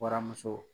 Waramuso